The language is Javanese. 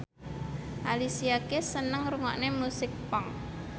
Alicia Keys seneng ngrungokne musik punk